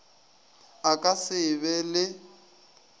a ka se be le